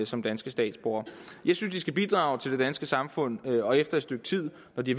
som danske statsborgere jeg synes de skal bidrage til det danske samfund og efter et stykke tid når de